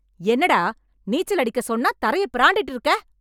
என்னடா, நீச்சலடிக்க சொன்னா, தரைய பிராண்டிட்டு இருக்க...